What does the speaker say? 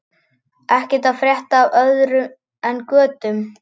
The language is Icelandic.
Er ekkert að frétta af öðru en götum?